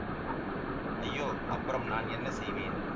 ஐயோ அப்புறம் நான் என்ன செய்வேன்